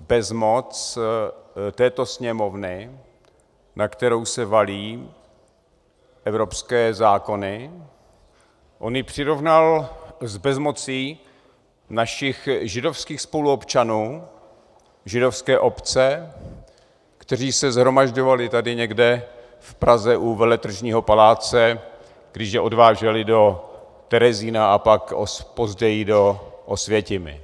bezmoc této Sněmovny, na kterou se valí evropské zákony, on ji přirovnal k bezmoci našich židovských spoluobčanů, Židovské obce, kteří se shromažďovali tady někde v Praze u Veletržního paláce, když je odváželi do Terezína a pak později do Osvětimi.